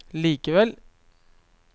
likevel